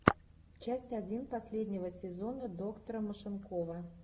часть один последнего сезона доктора машинкова